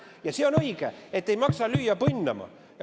Ja see on õige, et ei maksa lüüa põnnama.